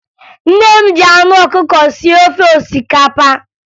Nne m ji anụ ọkụkọ sie ofe osikapa